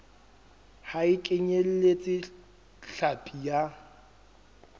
ha e kenyeletse hlapi ya